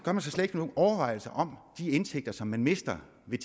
slet ikke nogen overvejelser om de indtægter man mister ved